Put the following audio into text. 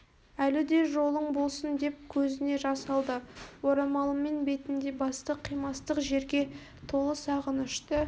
әлі де жолың болсын деп көзіне жас алды орамалымен бетін де басты қимастық шерге толы сағынышты